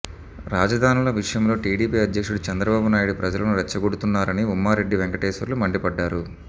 రాజధానుల విషయంలో టీడీపీ అధ్యక్షుడు చంద్రబాబు నాయుడు ప్రజలను రెచ్చగొడుతున్నారని ఉమ్మారెడ్డి వెంకటేశ్వర్లు మండిపడ్డారు